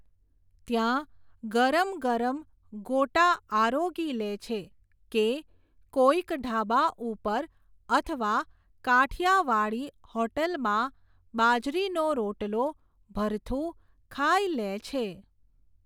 ત્યાં, ગરમ ગરમ, ગોટા આરોગી લેછે, કે, કોઈક ઢાબા ઉપર, અથવા, કાઠિયાવાડી હૉટેલમાં, બાજરીનો રોટલો, ભરથું, ખાઈ લેછે.